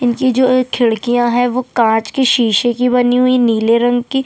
इनकी जो एक खिड़किया है वो जो कांच की शीशे की बनी हुई नीले रंग की--